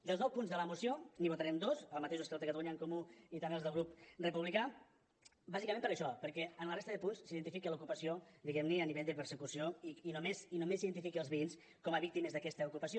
dels nou punts de la moció n’hi votarem dos els mateixos que catalunya en comú i també els del grup republicà bàsicament per això perquè en la resta de punts s’identifica l’ocupació diguem ne a nivell de persecució i només s’identifiquen els veïns com a víctimes d’aquesta ocupació